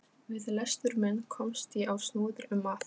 Við lestur minn komst ég á snoðir um að